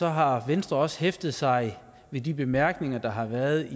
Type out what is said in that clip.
har venstre også hæftet sig ved de bemærkninger der har været